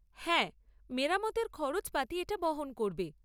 হ্যাঁ, মেরামতের খরচপাতি এটা বহন করবে।